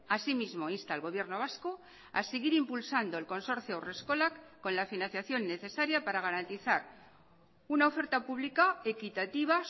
asimismo insta al gobierno vasco a seguir impulsando el consorcio haurreskolak con la financiación necesaria para garantizar una oferta pública equitativa